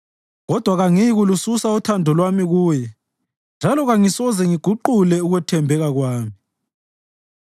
kodwa kangiyikulususa uthando lwami kuye, njalo kangisoze ngiguqule ukuthembeka kwami.